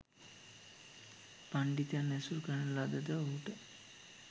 පණ්ඩිතයන් ඇසුර ලද ද ඔහුට